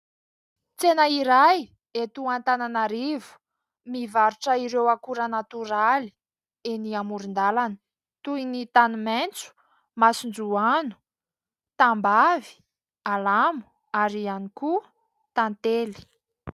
Tsena iray eto Antananarivo. Mivarotra ireo akora natoraly eny amoron-dalana toy ny tany maitso, masonjoany, tambavy, alamo ary ihany koa tantely.